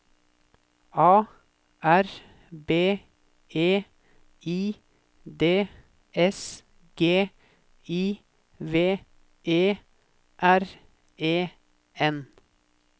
A R B E I D S G I V E R E N